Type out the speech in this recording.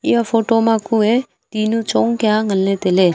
eya photo ma kue tinu chong kia nganley tailey.